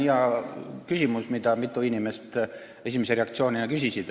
See on hea küsimus, mida mitu inimest esimese reaktsioonina küsisid.